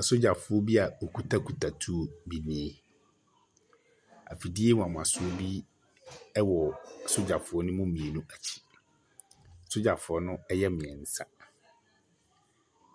Asogyafoɔ bia wɔkutakuta tuo bi nie. Ɛfidie wanwasoɔ bi ɛwɔ asogyafoɔ no mu mmienu akyi. Sogyafoɔ no ɛyɛ mmiɛnsa.